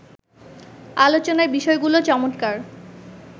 আলোচনার বিষয়গুলো চমৎকার